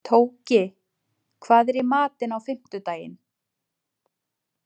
Tóki, hvað er í matinn á fimmtudaginn?